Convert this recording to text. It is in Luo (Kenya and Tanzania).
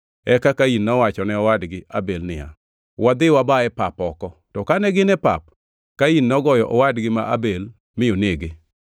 Eka Kain nowacho ne owadgi Abel niya, “Wadhi waba e pap oko.” To kane gin e pap, Kain nogoyo owadgi ma Abel mi onege.